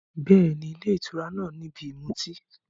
Bẹ́ẹ̀ni, ilé ìtura náà ni ibi ìmutí.